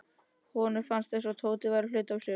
Honum fannst eins og Tóti væri hluti af sér.